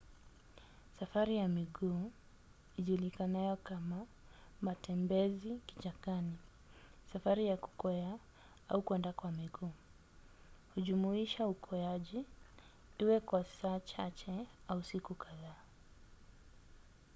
safari ya miguu ijulikanayo kama matembezi kichakani safari ya kukwea au kwenda kwa miguu hujumuisha ukweaji iwe kwa saa chache au siku kadhaa